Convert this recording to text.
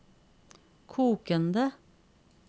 kokende